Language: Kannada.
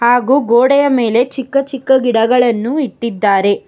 ಹಾಗೂ ಗೋಡೆಯ ಮೇಲೆ ಚಿಕ್ಕ ಚಿಕ್ಕ ಗಿಡಗಳನ್ನು ಇಟ್ಟಿದ್ದಾರೆ.